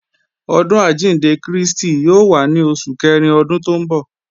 Ọdún àjíǹde Krístì yóò wá ní Oṣù Kẹrin Ọdún tó ń bọ̀